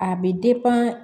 A bɛ